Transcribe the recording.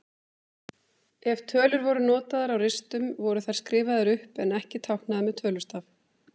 Ef tölur voru notaðar á ristum voru þær skrifaðar upp en ekki táknaðar með tölustaf.